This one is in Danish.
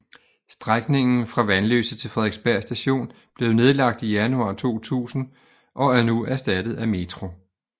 Strækningen fra Vanløse til Frederiksberg Station blev nedlagt i januar 2000 og er nu erstattet af metro